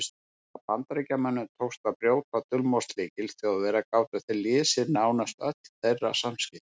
Þegar Bandamönnum tókst að brjóta dulmálslykil Þjóðverja gátu þeir lesið nánast öll þeirra samskipti.